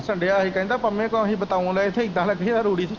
ਕਹਿੰਦਾ ਫੰਡਿਆ ਹੀ ਕਹਿੰਦਾ ਪੰਮੇ ਤੋਂ ਆਹੀ ਬਤਾਊ ਲਏ ਥੇ ਇੱਦਾ ਲੱਗੇ ਜਿੱਦਾ ਰੂੜੀ ਸੀ।